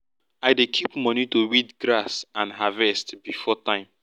i dey keep money to weed grass and harvest before time